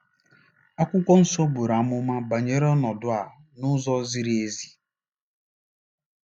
Akwụkwọ Nsọ buru amụma banyere ọnọdụ a n'ụzọ ziri ezi.